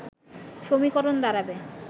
সমীকরণ দাঁড়াবে